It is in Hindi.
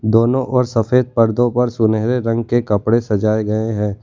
दोनों और सफेद पर्दों पर सुनहरे रंग के कपड़े सजाए गए हैं।